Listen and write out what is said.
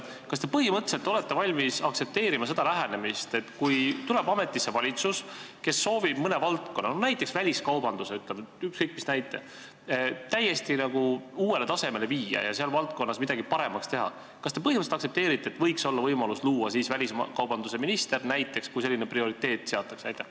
Kas te põhimõtteliselt olete valmis aktsepteerima seda lähenemist, et kui tuleb ametisse valitsus, kes soovib mõne valdkonna, näiteks väliskaubanduse või ükskõik mis valdkonna täiesti uuele tasemele viia ja seal midagi paremaks teha, et siis võiks olla võimalus luua näiteks väliskaubanduse ministri koht, kui selline prioriteet seatakse?